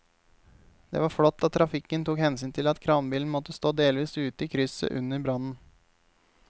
Det var flott at trafikken tok hensyn til at kranbilen måtte stå delvis ute i krysset under brannen.